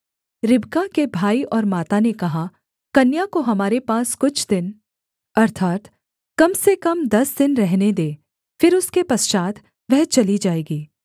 रिबका के भाई और माता ने कहा कन्या को हमारे पास कुछ दिन अर्थात् कम से कम दस दिन रहने दे फिर उसके पश्चात् वह चली जाएगी